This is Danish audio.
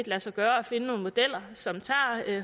lade sig gøre at finde nogle modeller som tager